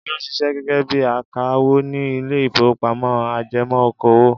Olú ń ṣiṣẹ́ gẹ́gẹ́ bí i akawó ní ilé-ìfowópamọ́sí ajẹmọ́ okòwò.